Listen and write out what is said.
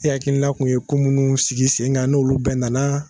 E hakilina tun ye ko minnu sigi sen kan n' olu bɛɛ nana.